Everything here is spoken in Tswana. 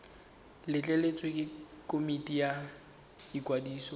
letleletswe ke komiti ya ikwadiso